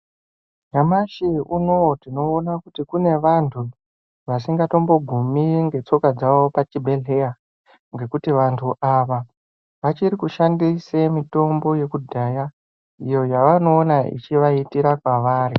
Nyamashi unoo tinoona kuti kune vantu vasingatombogumi netsoka dzavo pachibhehleya ngekuti vantu ava vachiri kushandisa mitombo yekudhaya iyo yavanoona ichivaitira pavari.